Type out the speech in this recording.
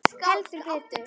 Heldur betur.